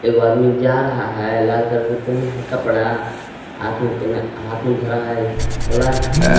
एगो आदमी जा रहा है लाल कलर के पहना है कपड़ा हाथ में पहना हाथ में धरा है प्लास्टिक ।